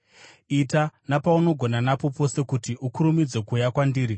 Ita napaunogona napo pose kuti ukurumidze kuuya kwandiri,